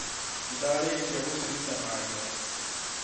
Nĩndarĩkia gũciruta na nja